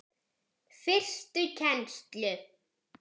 Fyrstu kennslu